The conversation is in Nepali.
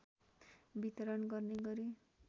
वितरण गर्ने गरी